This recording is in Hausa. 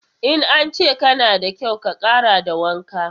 In an ce kana da kyau, ka ƙara da wanka.